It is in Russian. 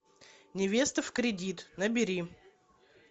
невеста в кредит набери